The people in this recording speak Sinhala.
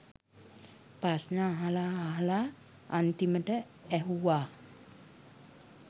ප්‍රශ්න අහලා අහලා අන්තිමට ඇහුවා